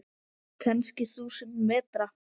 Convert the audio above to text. Kannski þúsund metra?